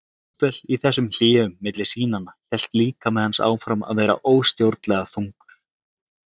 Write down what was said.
Jafnvel í þessum hléum milli sýnanna hélt líkami hans áfram að vera óstjórnlega þungur.